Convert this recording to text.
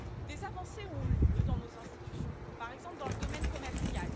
Des avancées ont eu lieu dans nos institutions, par exemple dans le domaine commercial.